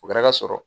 O kɛra ka sɔrɔ